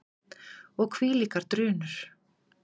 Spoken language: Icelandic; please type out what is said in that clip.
Og hvílíkar drunur!